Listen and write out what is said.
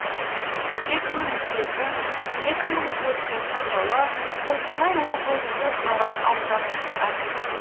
екі мың екі екі мың төртінші жылы қостанай облысы таран ауданының әкімі